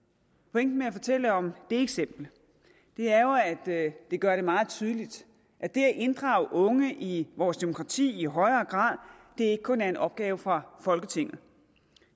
pointen med at fortælle om det eksempel er jo at det gør det meget tydeligt at det at inddrage unge i vores demokrati i højere grad ikke kun er en opgave for folketinget